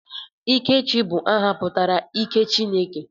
Ikechi bụ aha pụtara 'ike Chineke'